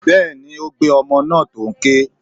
Bẹ́ẹ̀ni, ó gbé ọmọ náà tó n ké.